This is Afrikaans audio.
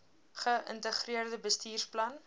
ge integreerde bestuursplan